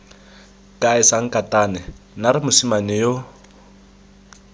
kae sankatane naare mosimane yo